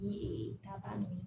Ni taba nunnu